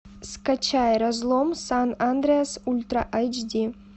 скачай разлом сан андреас ультра айч ди